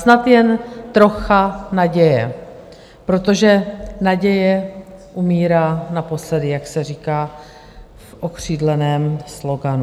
Snad jen trocha naděje, protože naděje umírá naposledy, jak se říká v okřídleném sloganu.